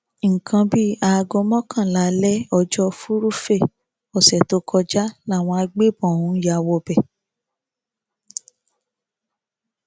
nǹkan bíi aago mọkànlá alẹ ọjọ furuufee ọsẹ tó kọjá làwọn agbébọn ọhún ya wọ bẹ̀